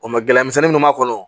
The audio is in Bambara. O mɛ gɛlɛyamisɛnnin minnu b'a kɔnɔ